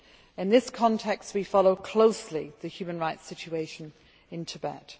In this context, we follow closely the human rights situation in Tibet.